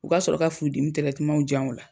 U k'a sɔrɔ ka furu dimi yan o la.